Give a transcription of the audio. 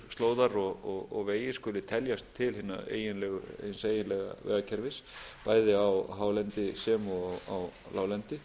slóðar og vegir skuli teljast til hins eiginlega vegakerfis bæði á hálendi sem og á láglendi